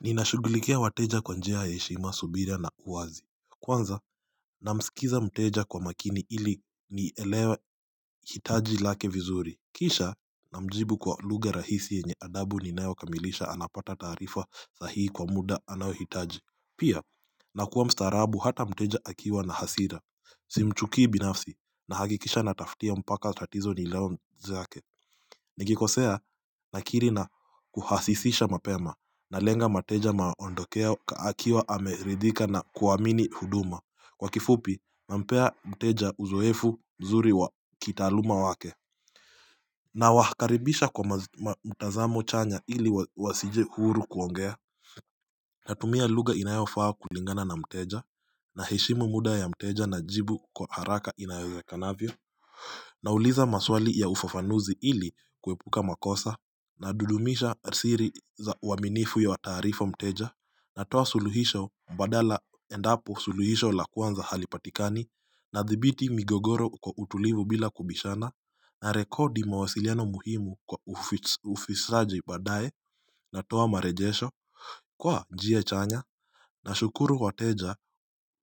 Ninashughulikia wateja kwa njia ya heshima, subira na uwazi Kwanza, namsikiza mteja kwa makini ili nielewe hitaji lake vizuri Kisha, namjibu kwa lugha rahisi yenye adabu linayokamilisha anapata taarifa sahihi kwa muda anaohitaji Pia, nakuwa mstaarabu hata mteja akiwa na hasira Simchukii binafsi nahakikisha natafutia mpaka tatizo zake Nikikosea nakiri na kuhasifisha mapema nalenga mteja aondoke akiwa ameridhika na kuamini huduma Kwa kifupi nampea mteja uzoefu mzuri wa kitaaluma wake Nawakaribisha kwa mtazamo chanya ili wasije huru kuongea Natumia lugha inayofaa kulingana na mteja na heshimu muda ya mteja najibu kwa haraka inayowezakanavyo na uliza maswali ya ufafanuzi ili kuepuka makosa na dudumisha siri za uwaaminifu ya wataarifa mteja na toa suluhisho mbadala endapo suluhisho la kwanza halipatikani na thibiti migogoro kwa utulivu bila kubishana na rekodi mawasiliano muhimu kwa ufisraji badaye na toa marejesho kwa njia chanya na shukuru wa teja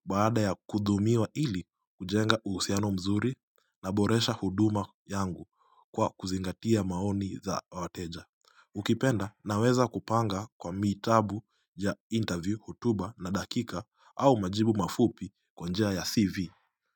baada ya kudhumiwa ili kujenga uhusiano mzuri na boresha huduma yangu kwa kuzingatia maoni za wateja Ukipenda na weza kupanga kwa mitabu ya interview hutuba na dakika au majibu mafupi kwa njia ya CV.